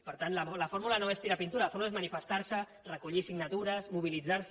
per tant la fórmula no és tirar pintura la fórmula és manifestar se recollir signatures mobilitzar se